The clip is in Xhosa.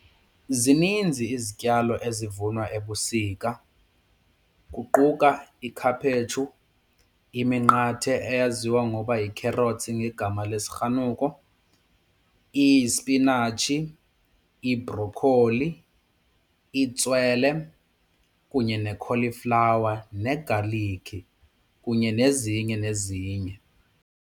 Zininzi izityalo ezivunwa ebusika kuquka ikhaphetshu, iminqathe eyaziwa ngokuba yi-carrot ngegama lesirhanuko, isipinatshi, ibrokholi, itswele kunye nekholiflawa negaliki kunye nezinye nezinye.